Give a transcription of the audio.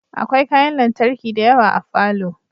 Akwai kayan lantarki dayawa a falo